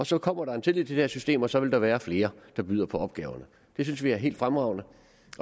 så kommer der en tillid til det system og så vil der være flere der byder på opgaverne det synes vi er helt fremragende